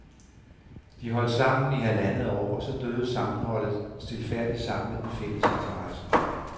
De holdt sammen i halvandet år, og så døde sammenholdet stilfærdigt sammen med den fælles interesse.